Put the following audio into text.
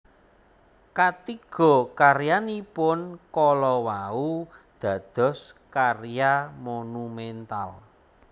Katiga karyanipun kala wau dados karya monumental